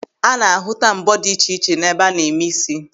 A na-ahụta mbọ́ dị iche iche n'ebe a na-eme ísí.